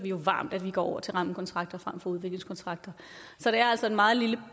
varmt at vi går over til rammekontrakter frem for udviklingskontrakter så det er altså en meget